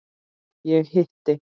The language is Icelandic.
Ég hitti